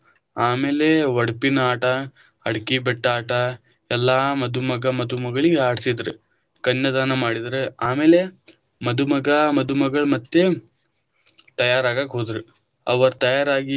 ಆಮೇಲೆ ಒಡಪಿನ ಆಟಾ, ಅಡಕಿಬೆಟ್ಟ ಆಟಾ, ಎಲ್ಲಾ ಮಧುಮಗ ಮಧುಮಗಳಿಗ ಆಡಿಸಿದ್ರ, ಕನ್ಯಾದಾನ ಮಾಡಿದ್ರ ಆಮೇಲೆ ಮಧುಮಗ ಮಧುಮಗಳ ಮತ್ತೆ ತಯಾರಾಗಾಕ ಹೋದ್ರ ಅವ್ರ ತಯಾರಾಗಿ.